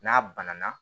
N'a banana